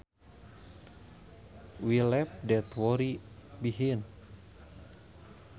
We left that worry behind